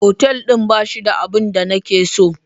Otal din ba shi da abin da nake so.